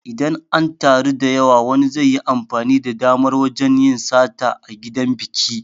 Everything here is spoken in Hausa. Idan an taru da yawa wani zaiyi amfani da damar wajan yin sata a gidan biki